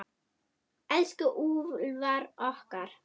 Elsku Úlfar okkar.